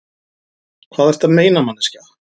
Hvað ertu að meina, manneskja?